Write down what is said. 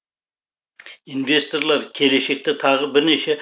инвесторлар келешекте тағы бірнеше